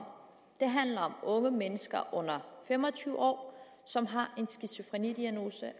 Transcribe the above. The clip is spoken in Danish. om det handler om unge mennesker under fem og tyve år som har en diagnose